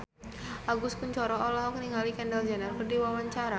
Agus Kuncoro olohok ningali Kendall Jenner keur diwawancara